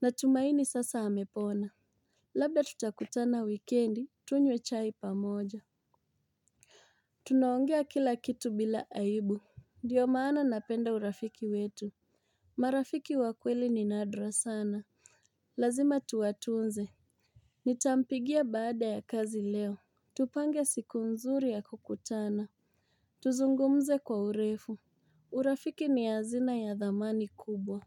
Natumaini sasa amepona. Labda tutakutana wikendi tunywe chai pamoja. Tunaongea kila kitu bila aibu. Ndio maana napenda urafiki wetu. Marafiki wakweli ni nadra sana. Lazima tuwatunze. Nitampigia baada ya kazi leo. Tupange siku nzuri ya kukutana. Tuzungumze kwa urefu. Urafiki ni hazina ya dhamani kubwa.